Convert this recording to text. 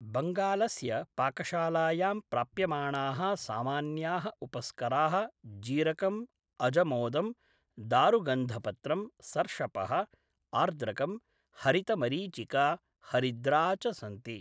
बङ्गालस्य पाकशालायां प्राप्यमाणाः सामान्याः उपस्कराः जीरकं, अजमोदं, दारुगन्धपत्रं, सर्षपः, आर्द्रकं, हरितमरीचिका, हरिद्रा च सन्ति।